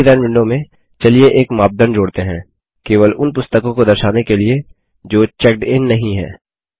query design window में चलिए एक मापदंड जोड़ते हैं केवल उन पुस्तकों को दर्शाने के लिए जो चेक्ड इन नहीं हैं